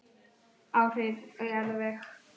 Áhrif á jarðveg